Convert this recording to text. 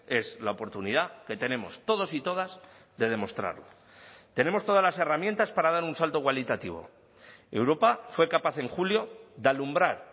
es la oportunidad que tenemos todos y todas de demostrarlo tenemos todas las herramientas para dar un salto cualitativo europa fue capaz en julio de alumbrar